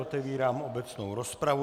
Otevírám obecnou rozpravu.